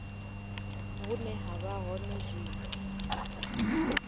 vhune ha vha hone zwino